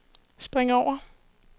spring over